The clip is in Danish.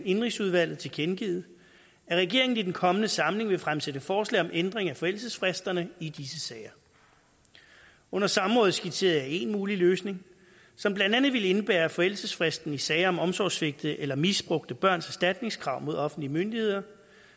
indenrigsudvalget tilkendegivet at regeringen i den kommende samling vil fremsætte forslag om ændring af forældelsesfristerne i disse sager under samrådet skitserede jeg en mulig løsning som blandt andet ville indebære at forældelsesfristen i sager om omsorgssvigtede eller misbrugte børns erstatningskrav mod offentlige myndigheder